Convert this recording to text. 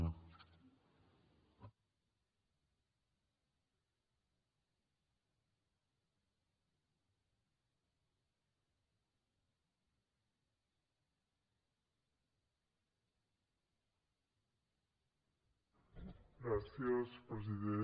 gràcies president